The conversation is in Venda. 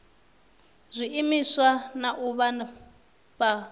zwiimiswa na u vha fha